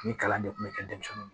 Ni kalan de kun bɛ kɛ denmisɛnninw